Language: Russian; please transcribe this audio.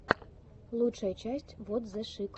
лучшая часть вот зе шик